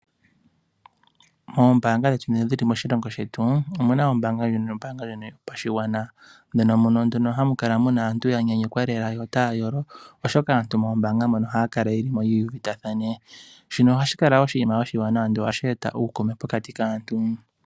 Moombanga dhetu dhono dhi li moshilongo shetu, omu na ombaanga ndjono yopashigwana. Ndjono nduno hamu kala aantu ya nyanyukwa lela yo otaya yolo, oshoka aantu moombaanga mono ohaya kala mo ye uvitathane. Shino ohashi kala oshinima oshiwanawa nohashi eta uukuume pokati kaantu.